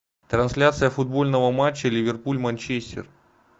трансляция футбольного матча ливерпуль манчестер